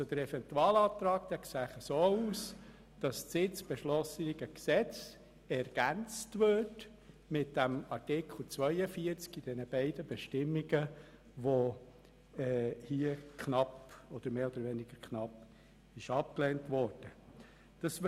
Der Eventualantrag sieht vor, dass das jetzt zu beschliessende Gesetz mit dem Artikel 42 Absatz 1 und 2, der hier mehr oder weniger knapp abgelehnt worden ist, ergänzt wird.